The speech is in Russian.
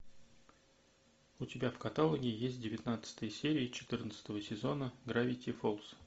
у тебя в каталоге есть девятнадцатая серия четырнадцатого сезона гравити фолз